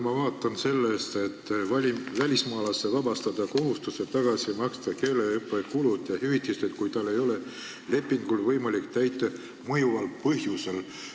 Ma vaatan siit, et välismaalase saab vabastada kohustusest keeleõppe kulud ja hüvitis tagasi maksta, kui tal ei ole võimalik lepingut täita mõjuval põhjusel.